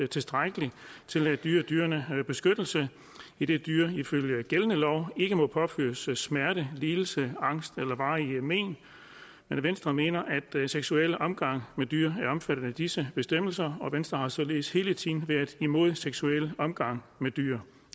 tilstrækkelig til at yde dyrene beskyttelse idet dyr ifølge gældende lov ikke må påføres smerte lidelse angst eller varige men venstre mener at seksuel omgang med dyr er omfattet af disse bestemmelser og venstre har således hele tiden været imod seksuel omgang med dyr